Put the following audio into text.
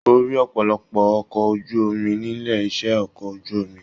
O rí ọpọlọpọ ọkọ̀ ojú omi nílé iṣẹ ọkọ̀ ojú omi.